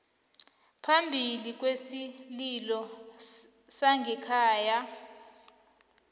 phambili kwesililo sangekhaya